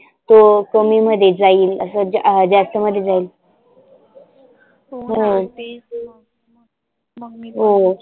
तो कमी मध्ये जाईल असं ज जास्त मध्ये जाईल हो हो